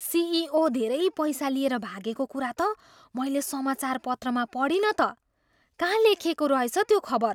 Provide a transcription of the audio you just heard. CEO धेरै पैसा लिएर भागेको कुरा त मैले समाचारपत्रमा पढिनँ त। कहाँ लेखिएको रहेछ त्यो खबर?